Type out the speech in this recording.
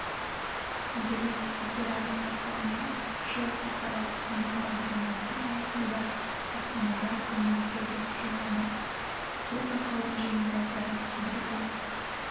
биыл опералия байқауына жыл халықаралық сынды бағдарламасы аясында астанада ұйымдастыруды жөн санадық бұл байқаудың жеңімпаздары бірден